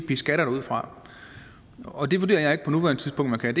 beskatter det ud fra og det vurderer jeg ikke på nuværende tidspunkt man kan